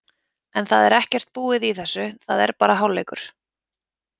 En það er ekkert búið í þessu, það er bara hálfleikur.